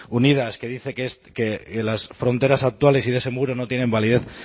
unidas que dice que las fronteras actuales y de ese muro no tienen validez